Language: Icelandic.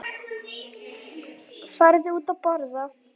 Farðu út að borða.